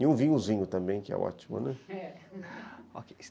E um vinhozinho também, que é ótimo, né?